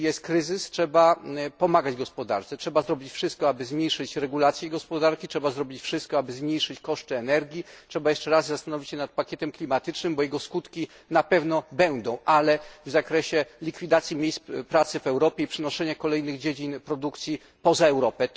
Jeżeli jest kryzys, trzeba pomagać gospodarce, zrobić wszystko, aby zmniejszyć jej regulację, trzeba zrobić wszystko, aby zmniejszyć koszty energii, jeszcze raz zastanowić się nad pakietem klimatycznym, bo jego skutki na pewno będą widoczne, ale w zakresie likwidacji miejsc pracy w Europie i przenoszenia kolejnych dziedzin produkcji poza Europę.